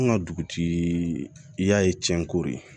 An ka dugutigi y'a ye cɛn ko de